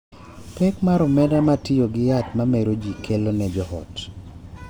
Pek mar omenda ma tiyo gi yath ma mero ji kelo ne joot